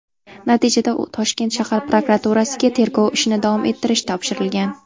Natijada Toshkent shahar prokuraturasiga tergov ishini davom ettirish topshirilgan.